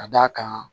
Ka d'a kan